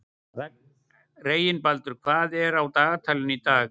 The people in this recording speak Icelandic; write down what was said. Reginbaldur, hvað er á dagatalinu í dag?